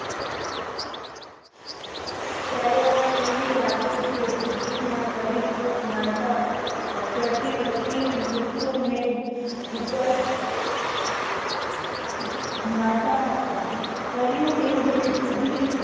ત્યારે આ કેવી લાગે છે. ભૂખી ફૂંક મારતા કરતી કરતી કુસુમ ને ઉત્તર મારતા હતા. કર્યું